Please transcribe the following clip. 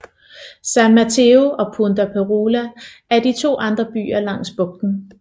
San Mateo og Punta Perula er de to andre byer langs bugten